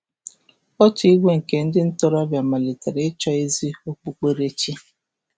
Otu igwe nke ndị ntorobịa malitere ịchọ ezi okpukperechi.